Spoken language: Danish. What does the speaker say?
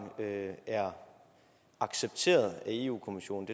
er accepteret af europa kommissionen